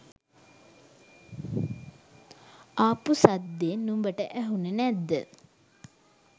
ආපු සද්දෙ නුඹට ඇහුනෙ නැද්ද?